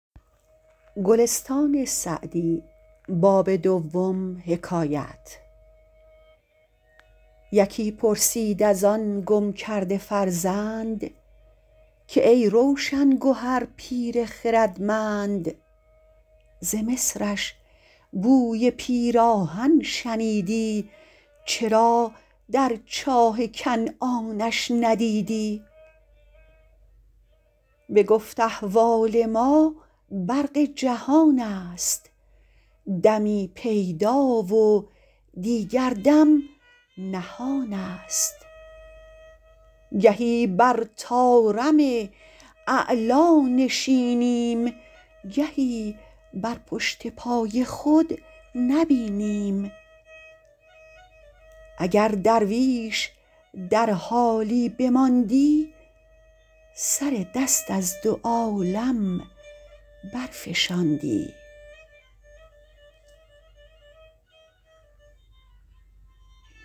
یکی پرسید از آن گم کرده فرزند که ای روشن گهر پیر خردمند ز مصرش بوی پیراهن شنیدی چرا در چاه کنعانش ندیدی بگفت احوال ما برق جهان است دمی پیدا و دیگر دم نهان است گهی بر طارم اعلیٰ نشینیم گهی بر پشت پای خود نبینیم اگر درویش در حالی بماندی سر دست از دو عالم برفشاندی